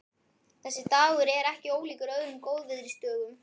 Þessi dagur er ekki ólíkur öðrum góðviðrisdögum.